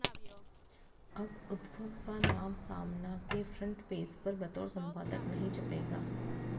अब उद्धव का नाम सामना के फ्रंट पेज पर बतौर संपादक नहीं छपेगा